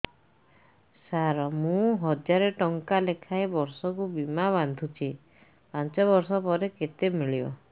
ସାର ମୁଁ ହଜାରେ ଟଂକା ଲେଖାଏଁ ବର୍ଷକୁ ବୀମା ବାଂଧୁଛି ପାଞ୍ଚ ବର୍ଷ ପରେ କେତେ ମିଳିବ